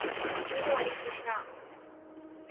Guru Hari Krishna